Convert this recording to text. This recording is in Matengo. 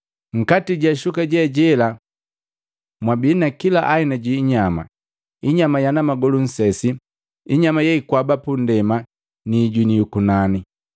Nkati ja shuka jela mwabi na kila aina ji inyama, inyama yana magolu nsesi, inyama yeikwaba pundema ni ijuni yukunani.